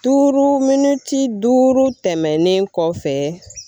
Duuru miniti duuru tɛmɛnen kɔfɛ